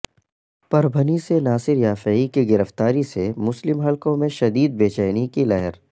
پربھنی سے ناصر یافعی کی گرفتاری سے مسلم حلقوں میں شدید بے چینی کی لہر